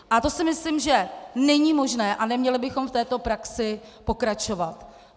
A to si myslím, že není možné, a neměli bychom v této praxi pokračovat.